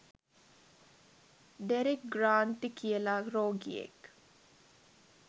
Derek Granty කියලා රෝගියෙක්